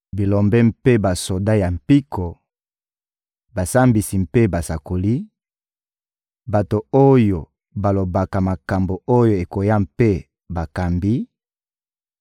bilombe mpe basoda ya mpiko, basambisi mpe basakoli, bato oyo balobaka makambo oyo ekoya mpe bakambi;